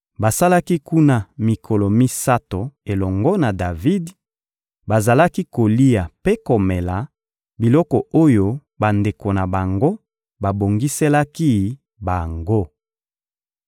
Basalaki kuna mikolo misato elongo na Davidi; bazalaki kolia mpe komela biloko oyo bandeko na bango babongiselaki bango.